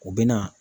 U bɛ na